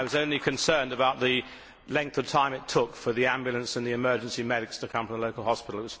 I was only concerned about the length of time it took for the ambulance and the emergency medics to come from the local hospital.